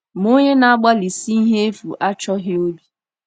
Ma onye na-agbalịsi ihe efu achọghị obi.